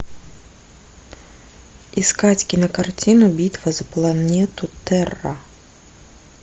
искать кинокартину битва за планету терра